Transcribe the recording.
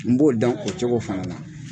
N b'o dan o cogo fana la.